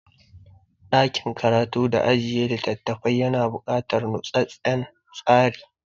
Ɗakin karatu da ajiye littafafai yana buƙatar nutsattsen tsari.